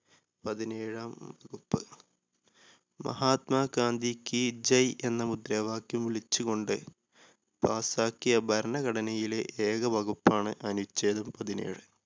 പതിനേഴാം മഹാത്മാ ഗാന്ധി കീ ജയ് എന്ന മുദ്രാവാക്യം വിളിച്ച് കൊണ്ട് pass ക്കിയ ഭരണഘടനയിലെ ഏക വകുപ്പാണ് അനുഛേദം പതിനേഴ്.